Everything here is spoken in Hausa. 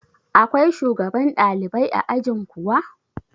Akwai shugaban ɗalibai a ajin kuwa?